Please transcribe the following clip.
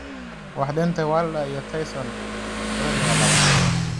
Waa Deontay Wilder iyo Tyson Furyiga labaad.